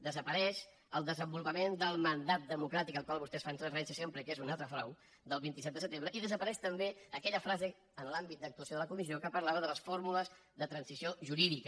desapareix el desenvolupament del mandat democràtic al qual vostès fan referència sempre i que és un altre frau del vint set de setembre i desapareix també aquella frase en l’àmbit d’actuació de la comissió que parlava de les fórmules de transició jurídica